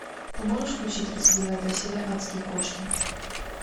ты можешь включить тридцать девятая серия адские кошки